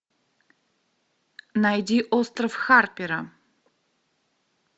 найди остров харпера